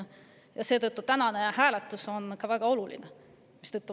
Ja seetõttu on tänane hääletus ka väga oluline.